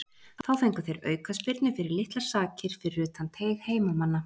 Þá fengu þeir aukaspyrnu fyrir litlar sakir fyrir utan teig heimamanna.